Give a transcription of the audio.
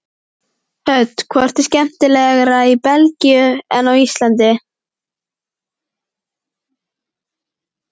Hödd: Hvort er skemmtilegra í Belgíu en á Íslandi?